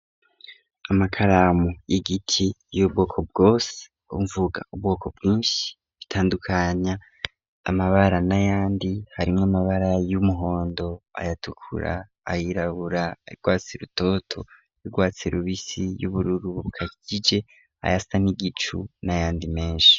Amakaramu y'igiti y'ubwoko bwose mvuga ubwoko bwinshi bitandukanya amabara n'ayandi harimwo amabara y'umuhondo ayatukura ayirabura rwatsi rutoto rwatsi rubisi y'ubururu bukakije ayasa n'igicu n'ayandi menshi.